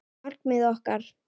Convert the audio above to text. Markmið okkar?